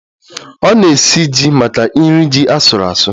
Ọ na-esi ji maka nri ji asuru asu